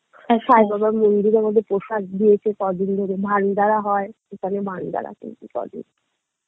আর সাই বাবার মন্দিরে আমাদের প্রসাদ দিয়েছে কদিন ধরে ভান্ডারা হয় সেখানে ভান্ডারা পেয়েছি কদিন